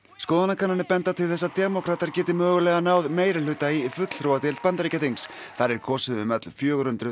skoðanakannanir benda til þess að demókratar geti mögulega náð meirihluta í fulltrúadeild Bandaríkjaþings þar er kosið um öll fjögur hundruð